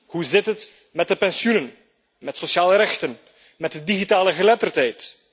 Hoe zit het met de pensioenen, met sociale rechten, met de digitale geletterdheid?